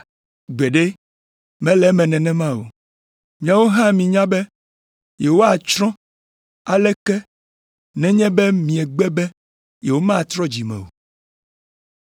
Gbeɖe, mele eme nenema o! Miawo hã minya be yewoatsrɔ̃ alea ke nenye be miegbe be yewomatrɔ dzi me o.